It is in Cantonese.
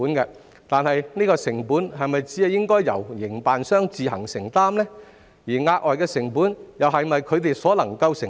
然而，有關的成本是否應該只由營辦商自行承擔，而額外成本又是否它們所能承擔？